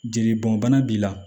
Jeli bɔn bana b'i la